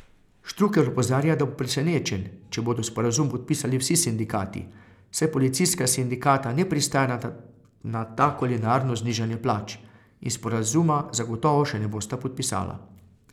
Štrukelj opozarja, da bo presenečen, če bodo sporazum podpisali vsi sindikati, saj policijska sindikata ne pristajata na tako linearno znižanje plač in sporazuma zagotovo še ne bosta podpisala.